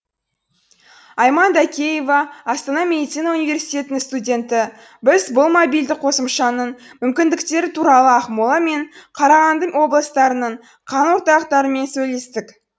айман дакеева астана медицина университетінің студенті біз бұл мобильді қосымшаның мүмкіндіктері туралы ақмола мен қарағанды облыстарының қан орталықтарымен сөйлестік